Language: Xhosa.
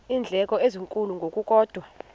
iindleko ezinkulu ngokukodwa